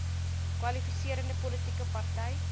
kwalifiserende politieke party